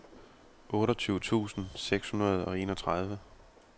otteogtyve tusind seks hundrede og enogtredive